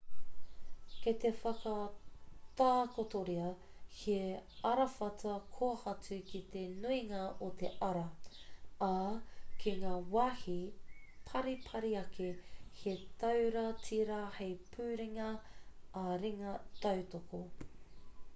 kei te whakatakotoria he arawhata kōhatu ki te nuinga o te ara ā ki ngā wāhi paripari ake he taura tīra hei puringa ā-ringa tautoko